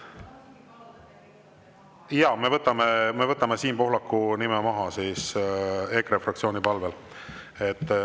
Jaa, me võtame Siim Pohlaku nime maha EKRE fraktsiooni palvel.